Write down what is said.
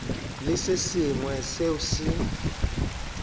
le se sengwe seo se